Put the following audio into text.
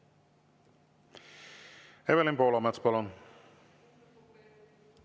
Evelin Poolamets, palun!